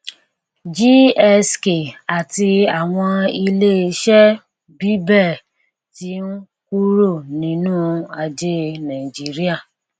gsk àti àwọn ilé iṣẹ bíbẹ ti ń kúrò nínú ajé nàìjíríà